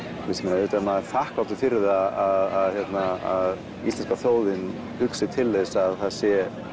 auðvitað er maður þakklátur að íslenska þjóðin hugsi til þess að það sé